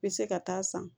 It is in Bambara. I bɛ se ka taa san